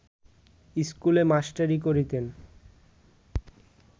স্কুলে মাস্টারি করিতেন